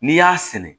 N'i y'a sɛnɛ